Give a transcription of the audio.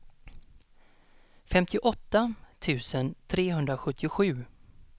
femtioåtta tusen trehundrasjuttiosju